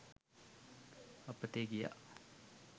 අපතේ ගියා